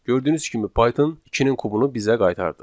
Gördüyünüz kimi Python ikinin kubunu bizə qaytardı.